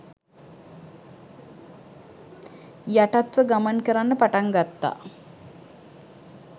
යටත්ව ගමන් කරන්න පටන් ගත්තා